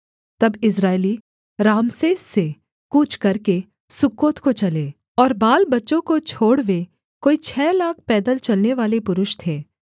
तब Israeli Rameses से कूच करके सुक्कोत को चले और बालबच्चों को छोड़ वे कोई छः लाख पैदल चलनेवाले पुरुष थे